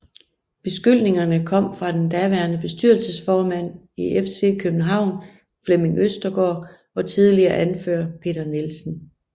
Beskyldningerne kom fra den daværende bestyrelsesformand i FC København Flemming Østergaard og tidligere anfører Peter Nielsen